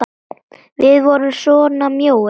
Við vorum svona mjóir!